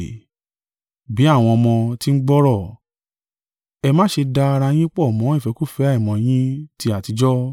Bí àwọn ọmọ tí ń gbọ́rọ̀, ẹ ma ṣe da ara yín pọ̀ mọ́ ìfẹ́kúfẹ̀ẹ́ àìmọ́ yín ti àtijọ́.